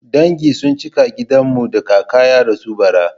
Dangi sun cika a gidan mu da kaka ya rasu bara.